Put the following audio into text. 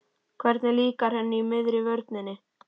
Hvernig líkar henni í miðri vörninni?